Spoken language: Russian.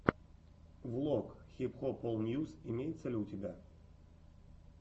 влог хип хоп ол ньюс имеется ли у тебя